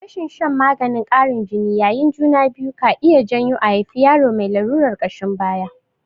Rashin shan maganin ƙarin jini yayin juna biyu ka iya janyo a haifi yaro mai lalurar ƙashin baya.